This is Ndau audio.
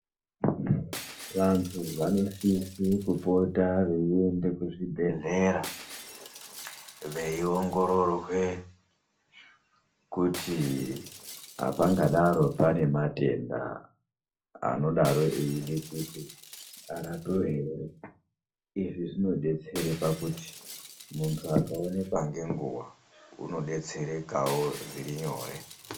Vantu vanosise kupota veiende kuzvibhehlera veiongororwe kuti hapangadaro pane matenda anodaro eide kuti arapiwe here. Izvi zvinodetsere pakuti muntu akaonekwa ngenguva, unodetserekawo zvirinyore.